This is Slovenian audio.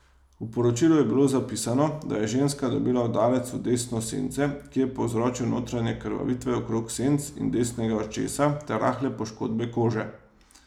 V poročilu je bilo zapisano, da je ženska dobila udarec v desno sence, ki je povzročil notranje krvavitve okrog senc in desnega očesa ter rahle poškodbe kože.